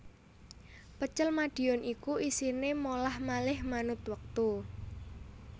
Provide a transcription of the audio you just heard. Pecel Madiun iku isine molah malih manut wektu